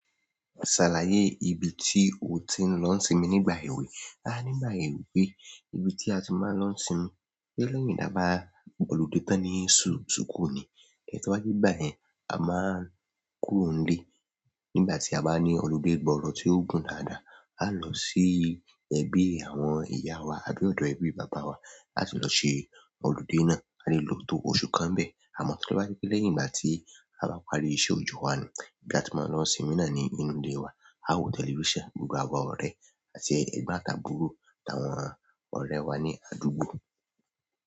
Ṣàlàyé ibi tí o ti ń lọ sinmi nígbà èwe. A nígbà èwe pé ibi tí a ti máa ń lọ sinmi lẹ́yìn dá bá gbolodé tán ní sùkúù ní, ẹ̀ tó bá jẹ́ ìgbà yẹn a máa ń kúrò nílé. Nígbà tí a bá ní ọludé gbọrọ tí o gùn dáadáa, a lọ sí ẹbí àwọn ìyá wa àbí ọ̀dọ̀ ẹbí bàbá wa láti lọ ṣe ọludé náà, a lè lo tó oṣù kan níbẹ̀. Àmọ́ tí bá jẹ́ pé lẹ́yìn ìgbà tí a bá parí ìṣe ọjọ́ wa nu, ibi tí a ti máa ń lọ sinmi náà ní inú ilé wa. A wo tẹlifíṣàn, gbogbo àwọn ọ̀rẹ́ àti ẹgbọn àti àbúrò àwọn ọ̀rẹ́ wa ní àdúgbò.